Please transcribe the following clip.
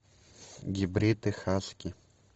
гибриды хаски